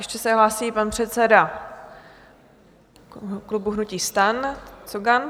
Ještě se hlásí pan předseda klubu hnutí STAN Cogan.